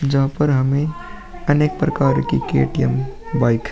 जहाँ पर हमे अनेक प्रकार की के.टी.एम बाइक --